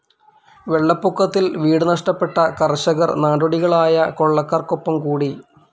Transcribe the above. വെള്ളപ്പൊക്കത്തിൽ വീട് നഷ്ടപ്പെട്ട കർഷകർ നാടോടികളായ കൊള്ളക്കാർക്കൊപ്പം കൂടി.